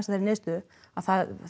þeirri niðurstöðu að